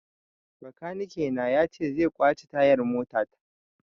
Bakanike na ya ce zai kwance tayar mota ta